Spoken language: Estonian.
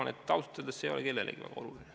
Ma arvan, et ausalt öeldes ei ole see kellelegi oluline.